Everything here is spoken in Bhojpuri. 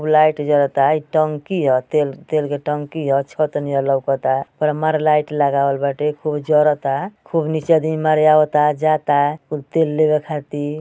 उ लाइट जरता। इ टंकी ह। तेल तेल के टंकी ह। छत नियर लउकता। पूरा मारे लाइट लगावल बाटे। खूब जरता। खूब नीचे आदमी मारे आवता जाता कुल तेल लेबे खाती।